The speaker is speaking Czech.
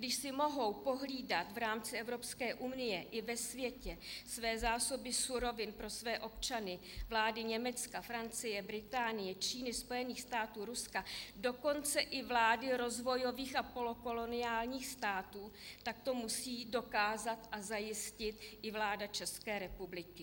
Když si mohou pohlídat v rámci Evropské unie i ve světě své zásoby surovin pro své občany vlády Německa, Francie, Británie, Číny, Spojených států, Ruska, dokonce i vlády rozvojových a polokoloniálních států, tak to musí dokázat a zajistit i vláda České republiky.